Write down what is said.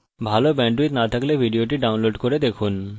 ভাল bandwidth না থাকলে আপনি ভিডিওটি download করে দেখতে পারেন